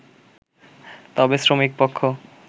তবে শ্রমিক পক্ষ